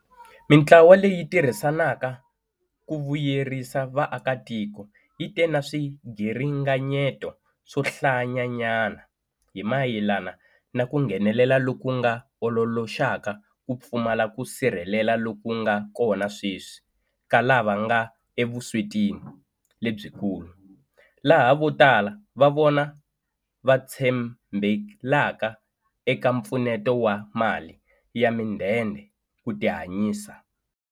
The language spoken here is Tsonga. Mitlawa leyi tirhisanaka ku vuyerisa vaakatiko yi te na swiringanyeto swo hlayanyana hi mayelana na ku nghenelela loku nga ololoxaka ku pfumala ku sirheleleka loku nga kona sweswi ka lava nga evuswetini lebyikulu, laha vo tala va vona va tshembelaka eka mpfuneto wa mali ya midende ku tihanyisa.